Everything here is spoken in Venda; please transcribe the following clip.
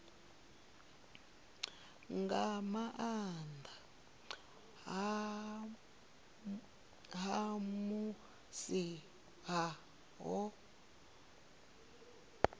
nga nnḓa ha musi ho